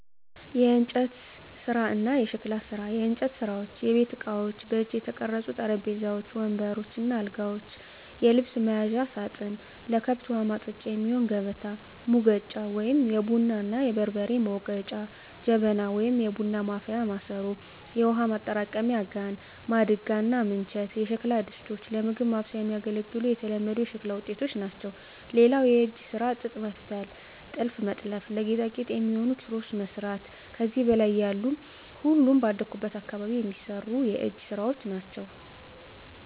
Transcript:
**የእንጨት ስራ እና የሸክላ ስራ፦ *የእንጨት ስራዎች * የቤት እቃዎች: በእጅ የተቀረጹ ጠረጴዛዎች፣ ወንበሮች እና አልጋዎች፣ የልብስ መያዣ ሳጥን፣ ለከብት ውሀ ማጠጫ የሚሆን ከበታ፣ ሙገጫ(የቡና እና የበርበሬ መውገጫ) ጀበና (የቡና ማፍያ ማሰሮ)፣ የውሃ ማጠራቀሚያ ጋን፣ ማድጋ እና ምንቸት የሸክላ ድስቶች ለምግብ ማብሰያ የሚያገለግሉ የተለመዱ የሸክላ ውጤቶች ናቸው። *ሌላው የእጅ ስራ ጥጥ መፍተል *ጥልፍ መጥለፍ *ለጌጣጌጥ የሚሆኑ ኪሮስ መስራት ከዚህ በላይ ያሉ ሁሉም ባደኩበት አካባቢ የሚሰሩ የእጅ ስራወች ናቸው።